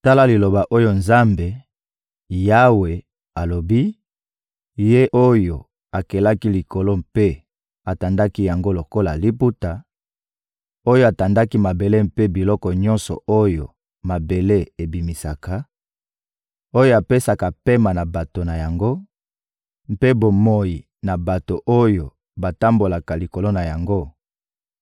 Tala liloba oyo Nzambe, Yawe, alobi, Ye oyo akelaki likolo mpe atandaki yango lokola liputa, oyo atandaki mabele mpe biloko nyonso oyo mabele ebimisaka, oyo apesaka pema na bato na yango mpe bomoi na bato oyo batambolaka likolo na yango: